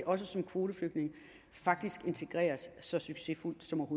også som kvoteflygtninge faktisk integreres så succesfuldt som